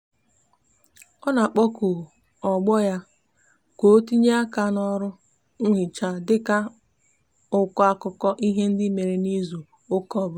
o n'akpoku ogbo ya ka otinyere aka n'oru nhicha dika ha n'ako akuko ihe ndi mere n'izu uka obula